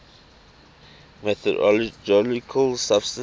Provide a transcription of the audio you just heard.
mythological substances